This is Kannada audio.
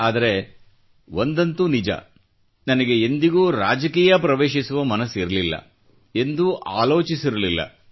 ಆದರೆ ಒಂದಂತೂ ನಿಜ ನನಗೆ ಎಂದಿಗೂ ರಾಜಕೀಯ ಪ್ರವೇಶಿಸುವ ಮನಸ್ಸಿರಲಿಲ್ಲ ಎಂದೂ ಆಲೋಚಿಸಿರಲಿಲ್ಲ